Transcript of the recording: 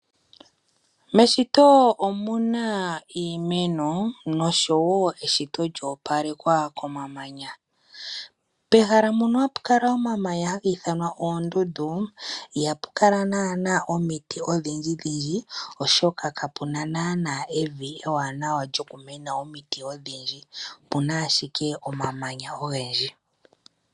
Moshito omuna iimeno oshowoo eshito lyoo palekwa komamanya. Pehala mono hapakala omamanya hapiithanwa oondundu, ihapukala naana omiti odhindjidhindji oshoka kapuna naanaa evi ewaanawa lyokumena omiti odhindji, opuna ashike omamanya ogendji.